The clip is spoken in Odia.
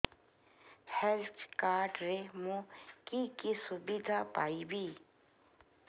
ହେଲ୍ଥ କାର୍ଡ ରେ ମୁଁ କି କି ସୁବିଧା ପାଇବି